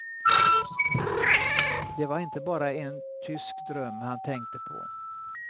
Det var inte bara en tysk dröm han tänkte på.